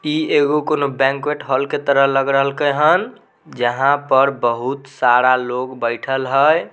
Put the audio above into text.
इ कोनो banquet hall के तरह लग रहल कन हेन जहां पर बहुत सारा लोग बइठल हेय।